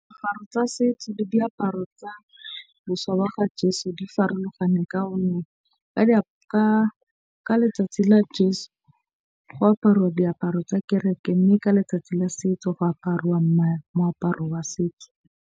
Diaparo tsa setso le diaparo tsa ga jeso di farologane ka letsatsi la go aparwa diaparo tsa kereke. Mme ka letsatsi la setso go aparuwa moaparo wa setso.